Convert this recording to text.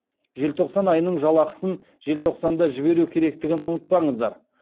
желтоқсан айының жалақысын желтоқсанда жіберу керектігін ұмытпаңыздар